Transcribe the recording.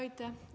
Aitäh!